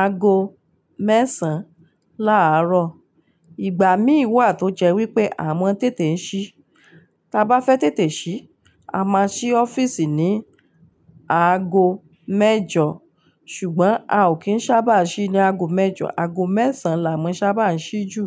ago mẹ́sàn-án láárọ̀. Ìgbà mí wà tó jẹ́ wípé à mọ́ tètè ń ṣí. Ta bá fẹ́ tètè ṣí, a máa ṣí ọ́fìsì ní ago mẹ́jọ. Ṣùgbọ́n a ò kí ń sábà ṣí ní ago mẹ́jọ, ago mẹ́sàn-án là mọ sábà ń ṣí jù.